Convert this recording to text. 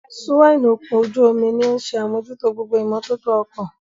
Súwáínì ọkọ̀ ojú-omi ní òun ṣe àmójútó gbogbo ìmótótó ọkọ̀